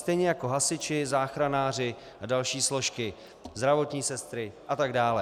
Stejně jako hasiči, záchranáři a další složky, zdravotní sestry a tak dále.